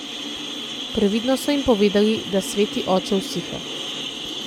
Previdno so jim povedali, da sveti oče usiha.